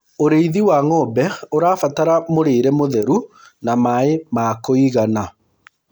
ũrĩithi wa ng'ombe ũrabatara mũrĩre mũtheru na maĩ ma kũigana